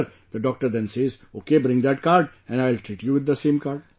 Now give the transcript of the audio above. Sir, the doctor then says, okay bring that card and I will treat you with the same card